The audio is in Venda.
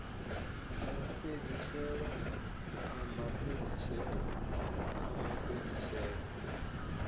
mafhedziselo a mafhedziselo o mafhedziselo